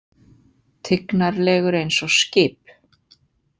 Tignarlegur eins og skip.